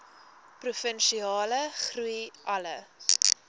provinsiale groei alle